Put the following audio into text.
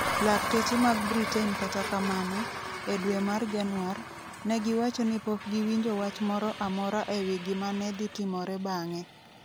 Lakteche mag Britain kata kamano, e dwe mar Januar, ne giwacho ni pok giwinjo wach moro amora e wi gik ma ne dhi timore bang'e.